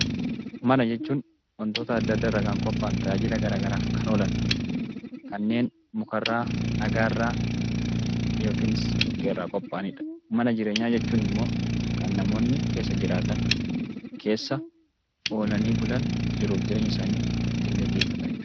Mana jechuun wantoota adda addaarraa kan qophaa'an tajaajila garaagaraaf kan oolan kanneen mukarraa dhagaarraa yookiis dhoqqeerraa qophaa'anidha. Mana jireenyaa jechuun immoo kan namoonni keessa jiraatan keessa oolanii bulan jiruu fi jireenya isaanii ittiin gaggeeffatanidha.